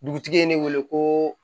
Dugutigi ye ne wele ko